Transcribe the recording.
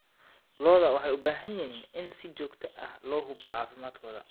Lo'da waxay u baahan yihiin in si joogto ah loo hubiyo caafimaadkooda.